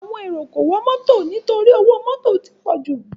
Àwọn èrò kò wọ mọ́tọ torí pé owó mọ́tò ti pọ̀jù.